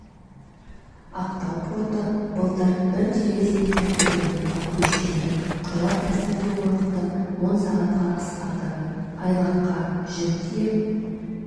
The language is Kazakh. ақтау порты былтыр бір терезе тәртібіне көшкелі құжат рәсімдеу уақыты он сағатқа қысқарды айлаққа жүк тиеп